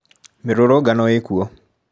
Mĩrũrũngano ĩkuo.